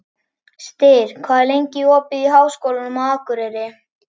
Styr, hvað er lengi opið í Háskólanum á Akureyri?